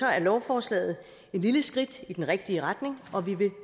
er lovforslaget et lille skridt i den rigtige retning og vi vil